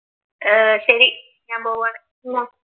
ഏർ ശരി ഞാൻ പോവുകയാണ്